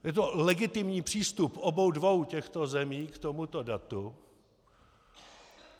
Je to legitimní přístup obou dvou těchto zemí k tomuto datu.